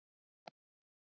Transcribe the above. í henni